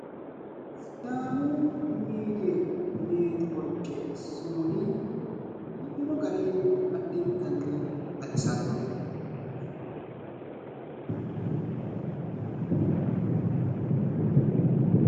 Sidaamu miidiyi netiworke sumudi biifino gari addintanni baxisanno.